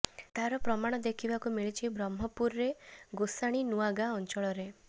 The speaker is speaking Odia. ତାର ପ୍ରମାଣ ଦେଖିବାକୁ ମିଳିଛି ବ୍ରହ୍ମପୁରରେ ଗୋଷାଣୀ ନୂଆଗାଁ ଅଞ୍ଚଳରେ